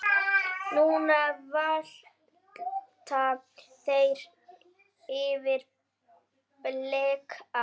Nú valta þeir yfir Belga.